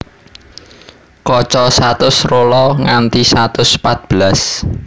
Kaca satus rola nganti satus pat belas